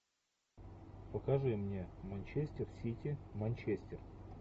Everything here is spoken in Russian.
покажи мне манчестер сити манчестер